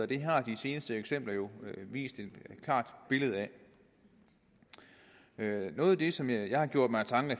det har de seneste eksempler jo vist et klart billede af noget af det som jeg har gjort mig af tanker